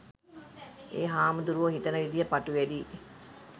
එ හාමුදුරුවො හිතන විදිහ ප‍ටු වැඩි